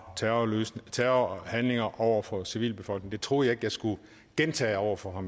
terrorhandlinger over for en civilbefolkning det troede jeg jeg skulle gentage over for